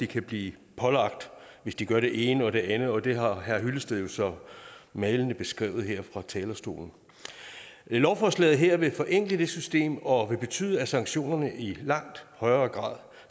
kan blive pålagt hvis de gør det ene og det andet og det har herre henning hyllested jo så malende beskrevet her fra talerstolen lovforslaget her vil forenkle det system og betyde at sanktionerne i langt højere grad